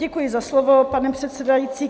Děkuji za slovo, pane předsedající.